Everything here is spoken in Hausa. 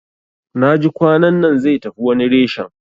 Naji kwanannan zai tafi wani reshen